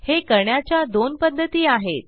हे करण्याच्या दोन पध्दती आहेत